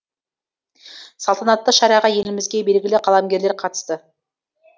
салтанатты шараға елімізге белгілі қаламгерлер қатысты